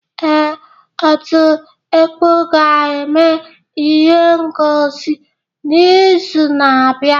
Ee, ọtú ekpọ ga-eme ihe ngọsi n'izu na-abịa.